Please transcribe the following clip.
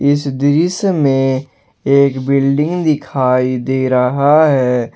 इस दृश्य में एक बिल्डिंग दिखाई दे रहा है।